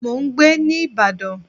Mò ń gbé ní ìbàdàn.